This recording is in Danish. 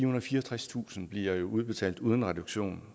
og fireogtredstusind kroner bliver jo udbetalt uden reduktion